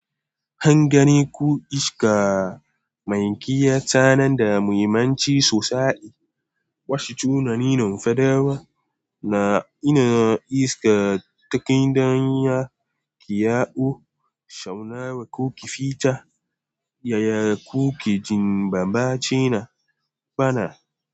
Han gane ku iska mai kiyata nan da muhimmanci sosai. Wasu tunanin nafadawa na ina iska ta kai dan ya ƙiyawo, shauna wa ko ki fita, ya ya ko ki jimba bacina bana.